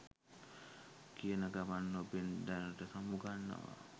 කියන ගමන් ඔබෙන් දැනට සමුගන්නවා